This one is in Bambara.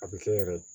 A bɛ kɛ yɛrɛ